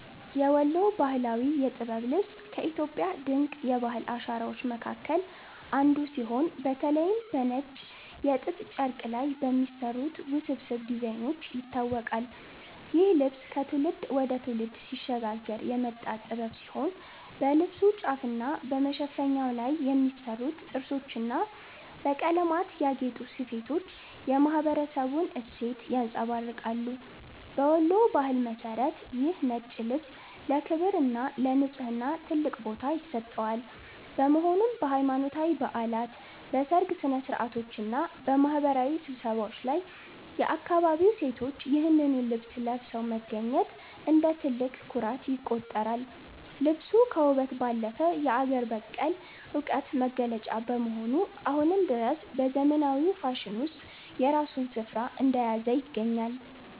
የወሎ ባህላዊ የጥበብ ልብስ ከኢትዮጵያ ድንቅ የባህል አሻራዎች መካከል አንዱ ሲሆን፤ በተለይም በነጭ የጥጥ ጨርቅ ላይ በሚሰሩት ውስብስብ ዲዛይኖች ይታወቃል። ይህ ልብስ ከትውልድ ወደ ትውልድ ሲሸጋገር የመጣ ጥበብ ሲሆን፣ በልብሱ ጫፍና በመሸፈኛው ላይ የሚሰሩት ጥርሶችና በቀለማት ያጌጡ ስፌቶች የማኅበረሰቡን እሴት ያንጸባርቃሉ። በወሎ ባህል መሠረት ይህ ነጭ ልብስ ለክብርና ለንጽሕና ትልቅ ቦታ ይሰጠዋል፤ በመሆኑም በሃይማኖታዊ በዓላት፣ በሰርግ ሥነ-ሥርዓቶችና በማኅበራዊ ስብሰባዎች ላይ የአካባቢው ሴቶች ይህንኑ ልብስ ለብሰው መገኘት እንደ ትልቅ ኩራት ይቆጠራል። ልብሱ ከውበት ባለፈ የአገር በቀል ዕውቀት መገለጫ በመሆኑ፣ አሁንም ድረስ በዘመናዊው ፋሽን ውስጥ የራሱን ስፍራ እንደያዘ ይገኛል።